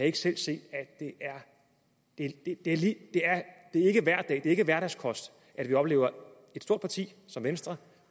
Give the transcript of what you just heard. ikke selv se at det ikke er hverdagskost at opleve et stort parti som venstre